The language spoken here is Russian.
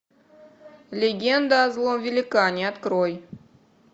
легенда о злом великане открой